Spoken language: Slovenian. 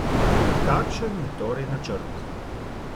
Kakšen je torej načrt?